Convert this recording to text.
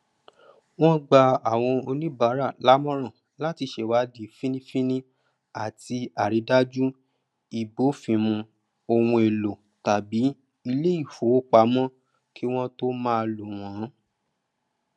wọn gba awọn oníbárà lámọràn latí sèwádí fínnínfínní àtí àrídájú ìbófinmu ohunèlò tàbí iléìfowópamọ kí wọn tó máa lò wọn